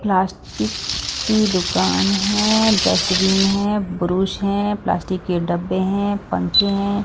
Plastic की दुकान है डस्टबीन है ब्रुश है प्लास्टिक के डब्बे हैं पंखे हैं।